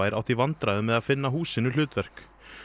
átt í vandræðum með að finna húsinu hlutverk